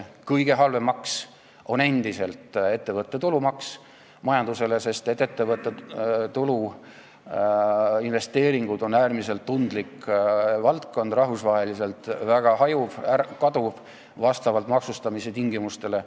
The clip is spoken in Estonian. Majandusele kõige halvem maks on endiselt ettevõtte tulumaks, sest ettevõtte tulu ja investeeringud on äärmiselt tundlik valdkond, rahvusvaheliselt väga hajuv ja kaduv, vastavalt maksustamistingimustele.